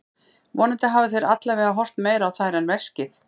Vonandi hafa þeir allavega horft meira á þær en veskið.